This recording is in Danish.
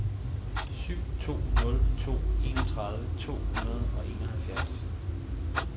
syv to nul to enogtredive to hundrede og enoghalvfjerds